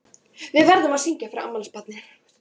Við verðum að syngja fyrir afmælisbarnið.